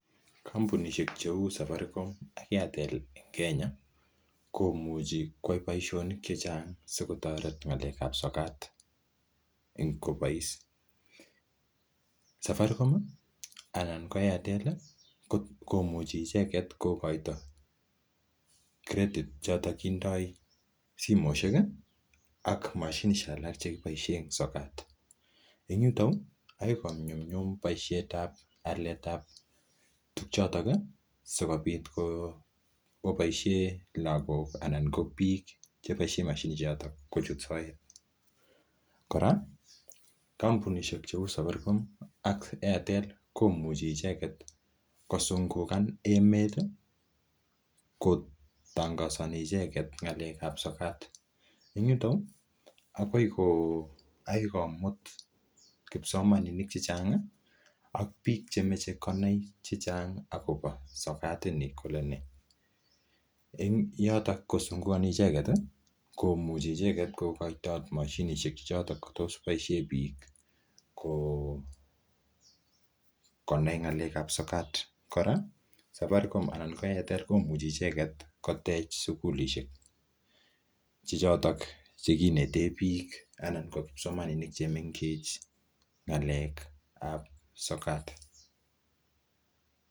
Kompunishek cheu Safaricom ak Airtel en Kenya komuchi koyai boisionik che chang sikotoret ng'alekan sokat kobois. Safaricom anan ko Airtel komuchi icheget kogoitoi credit choto kindo simoishek ak mashinishek alak chekiboisie en sokat. En yuto, yoe konyumnyum boisietab aletab tuguchoto sikobit koboisie lagoka anan ko biik cheboisiien moshinishek choto kochut soet. Kora kompunishek cheu Safaricom ak Airtel komuchi icheget kosungukan emet kotongosani icheget ng'alekab sokat. En yuto agoi komut kipsomaninik che chang ak biik chemoche konai chechang agobo sokat ini kole nee. En yuto kosungukani icheget komuche icheget kogaitot moshinishek che choto koboishen biik konai ng'alekab sokat. Kora Safaricom anan ko Airtel komuchi icheget kotech sugulishek che choto che kinetee biik anan kipsomaninik che mengechen ng'alekab sokat.